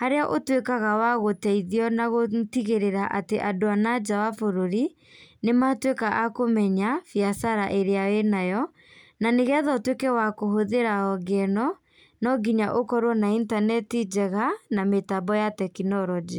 harĩa ũtuĩkaga wa gũteithio na gũtigĩrĩra atĩ andũ a nanja wa bũrũri, nĩ matuĩka a kũmenya biacara ĩrĩa wĩnayo. Na nĩgetha ũtuĩke wa kũhũthĩra honge ĩno, no ngĩnya ũkorwo na intaneti njega na mĩtambo ya tekinoronjĩ.